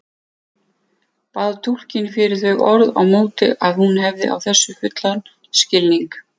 Bað túlkinn fyrir þau orð á móti að hún hefði á þessu fullan skilning.